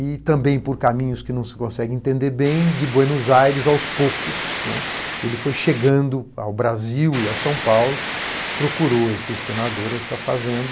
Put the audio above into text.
E também por caminhos que não se consegue entender bem, de Buenos Aires aos poucos, né, ele foi chegando ao Brasil e a São Paulo, procurou esse senador e a sua fazenda.